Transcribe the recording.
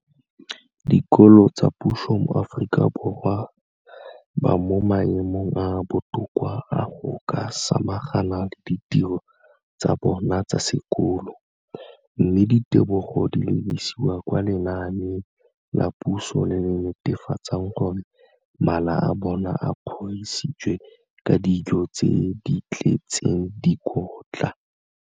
Dikolo tsa puso mo Aforika Borwa ba mo maemong a a botoka a go ka samagana le ditiro tsa bona tsa sekolo, mme ditebogo di lebisiwa kwa lenaaneng la puso le le netefatsang gore mala a bona a kgorisitswe ka dijo tse di tletseng dikotla.